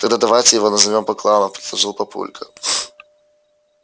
тогда давайте его назовём бакланов предложил папулька